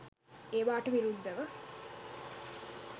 ඒවාට විරුද්ධව